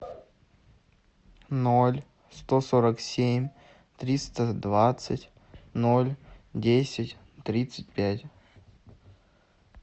ноль сто сорок семь триста двадцать ноль десять тридцать пять